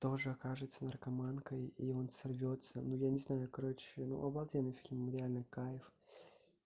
тоже окажется наркоманкой и он сорвётся но я не знаю короче ну обалденный фильм реальный кайф